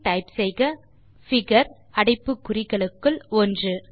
பின் type செய்க figure அடைப்பு குறிகளுக்குள் 1